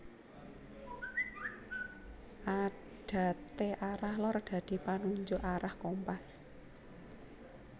Adate arah lor dadi panunjuk arah kompas